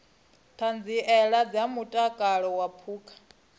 ṱhanziela ya mutakalo wa phukha